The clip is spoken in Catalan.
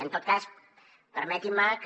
en tot cas permeti’m que